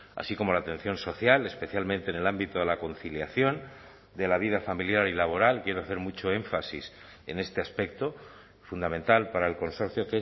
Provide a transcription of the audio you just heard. así como la atención social especialmente en el ámbito de la conciliación de la vida familiar y laboral quiero hacer mucho énfasis en este aspecto fundamental para el consorcio